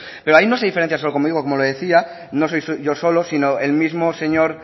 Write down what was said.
pero ahí no se diferencia solo conmigo como le decía no soy yo solo sino el mismo señor